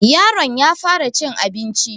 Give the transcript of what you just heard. yaron ya fara cin abinci